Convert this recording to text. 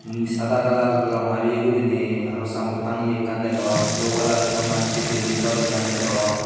umm sada colour rong habeye guriney aro samboard tangeye ekkan degong sey oboladi ton massey building gor ekkan degong.